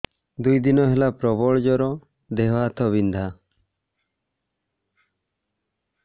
ଦୁଇ ଦିନ ହେଲା ପ୍ରବଳ ଜର ଦେହ ହାତ ବିନ୍ଧା